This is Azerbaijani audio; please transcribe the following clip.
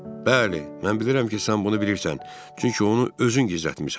Bəli, mən bilirəm ki, sən bunu bilirsən, çünki onu özün gizlətmisən.